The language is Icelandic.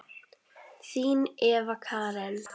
Þín Eva Karen.